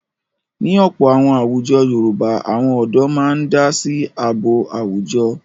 Ní ọ̀pọ̀ àwọn àwùjọ Yorùbá àwọn ọ̀dọ́ máa ń dá sí ààbò àwùjọ.